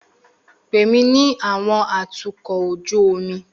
Pè mí ní àwọn atukọ̀ ojú omi